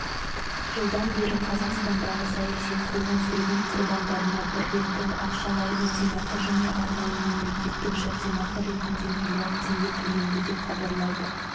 жылдан бері қазақстандағы саяси қуғын-сүргін құрбандарына бір реттік ақшалай өтемақы және арнайы мемлекеттік жәрдемақы ретінде млрд теңге төленді деп хабарлайды